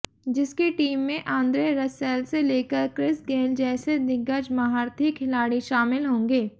जिसकी टीम में Andre Russell से लेकर क्रिस गेल जैसे दिग्गज महारथी खिलाड़ी शामिल होंगे